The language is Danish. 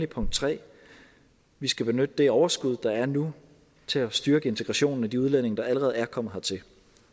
punkt 3 vi skal benytte det overskud der er nu til at styrke integrationen af de udlændinge der allerede er kommet hertil